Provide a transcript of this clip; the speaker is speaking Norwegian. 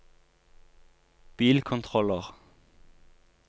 bilkontroller